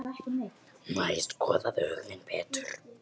Nei, skoðaðu hug þinn betur.